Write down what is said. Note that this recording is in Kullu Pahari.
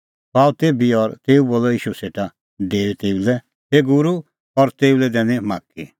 सह आअ तेभी और तेऊ बोलअ ईशू सेटा डेऊई तेऊ लै हे गूरू और तेऊ लै दैनी माख्खी